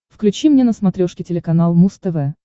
включи мне на смотрешке телеканал муз тв